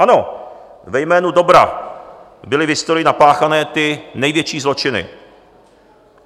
Ano, ve jménu dobra byly v historii napáchány ty největší zločiny.